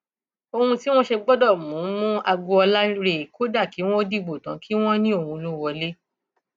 ohun tí wọn ṣe gbọdọ mú mú agboolá rèé kódà kí wọn dìbò tán kí wọn ní òun ló wọlé